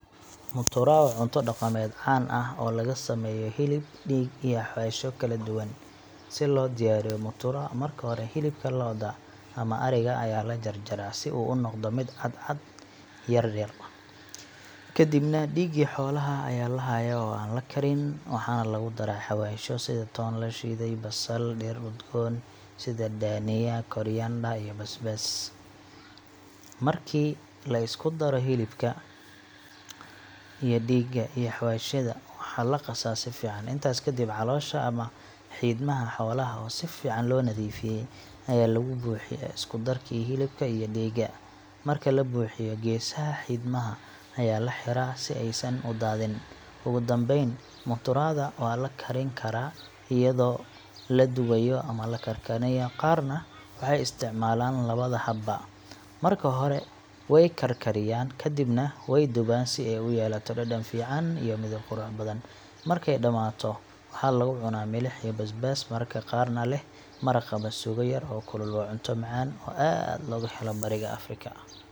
Mutura waa cunto dhaqameed caan ah oo laga sameeyo hilib, dhiig, iyo xawaashyo kala duwan. Si loo diyaariyo mutura, marka hore hilibka lo’da ama ari-ga ayaa la jarjaraa si uu u noqdo cadcad yaryar. Kadibna, dhiigii xoolaha ayaa la hayaa oo aan la karin, waxaana lagu daraa xawaashyo sida toon la shiiday, basal, dhir udgoon sida dhania coriander, iyo basbaas. Marka la isku daro hilibka iyo dhiigga iyo xawaashyada, waxaa la qasaa si fiican. Intaas kadib, caloosha ama xiidmaha xoolaha — oo si fiican loo nadiifiyey ayaa lagu buuxiyaa isku darkii hilibka iyo dhiigga. Marka la buuxiyo, geesaha xiidmaha ayaa la xiraa si aysan u daadin. Ugu dambeyn, mutura da waa la karin karaa iyadoo la dubayo ama la karkarinayo. Qaarna waxay isticmaalaan labada habba: marka hore way karkariyaan, kadibna way dubaan si ay u yeelato dhadhan fiican iyo midab qurux badan. Markay dhammaato, waxaa lagu cunaa milix iyo basbaas, mararka qaarna leh maraq ama suugo yar oo kulul. Waa cunto macaan oo aad looga helo bariga Afrika.